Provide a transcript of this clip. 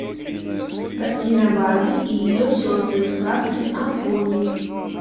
картина барби и ее сестры в сказке о пони